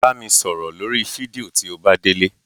Bá mi sọ̀rọ̀ lórí fídíò tí o bá délé.